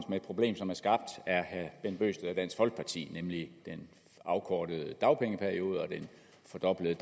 med et problem som er skabt af herre bent bøgsted og dansk folkeparti nemlig den afkortede dagpengeperiode og den fordoblede